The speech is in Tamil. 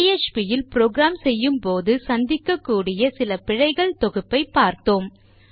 பிஎச்பி இல் ப்ரோக்ராம் செய்யும்போது சந்திக்கக்கூடிய சில பிழைகள் தொகுப்பைப் பார்த்தோம்